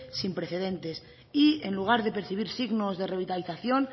sin precedentes y en lugar de percibir signos de revitalización